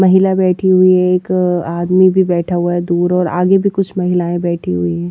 महिला बैठी हुई है एक आदमी भी बैठा हुआ है दूर और आगे भी कुछ महिलाएं बैठी हुई है।